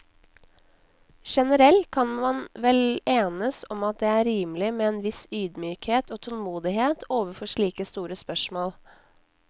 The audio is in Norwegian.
Generelt kan man vel enes om at det er rimelig med en viss ydmykhet og tålmodighet overfor slike store spørsmål.